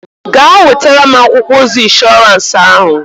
Gaa nwetara m akwụkwọ ozi ịnshọransị ahụ!